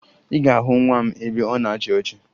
Ị ga-ahụ nwa m ebe ọ na-achị ọchị